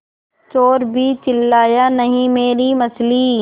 चोरु भी चिल्लाया नहींमेरी मछली